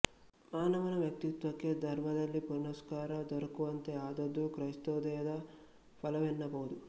ಮಾನವನ ವ್ಯಕ್ತಿತ್ವಕ್ಕೆ ಧರ್ಮದಲ್ಲಿ ಪುರಸ್ಕಾರ ದೊರಕುವಂತೆ ಆದದ್ದು ಕ್ರಿಸ್ತೋದಯದ ಫಲವೆನ್ನಬಹುದು